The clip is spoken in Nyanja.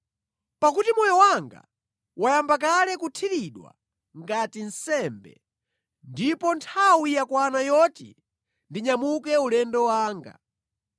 Pakuti moyo wanga wayamba kale kuthiridwa ngati nsembe, ndipo nthawi yakwana yoti ndinyamuke ulendo wanga.